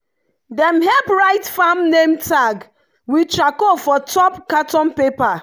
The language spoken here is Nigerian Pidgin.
dem help write farm name tag with charcoal for top carton paper.